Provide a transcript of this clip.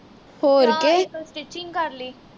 ਜਾਂ ਇਕ stitching ਕਰ ਲਈ